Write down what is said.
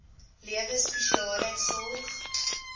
lewe spesiale sorg